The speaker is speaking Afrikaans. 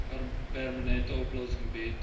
permanente oplossing bied